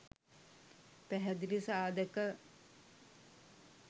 පැහැදිලි සාධක